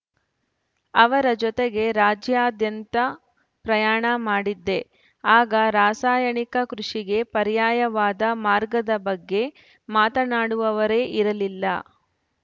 ಅವರ ಜೊತೆಗೆ ರಾಜ್ಯಾದ್ಯಂತ ಪ್ರಯಾಣ ಮಾಡಿದ್ದೆ ಆಗ ರಾಸಾಯನಿಕ ಕೃಷಿಗೆ ಪರ್ಯಾಯವಾದ ಮಾರ್ಗದ ಬಗ್ಗೆ ಮಾತನಾಡುವವರೇ ಇರಲಿಲ್ಲ